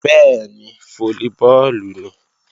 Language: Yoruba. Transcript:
Bẹ́ẹ̀ni, fólíbọọ̀lù nìí